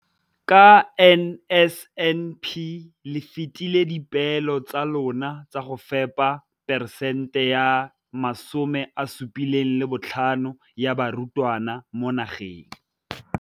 Ka NSNP le fetile dipeelo tsa lona tsa go fepa 75 percent ya barutwana ba mo nageng.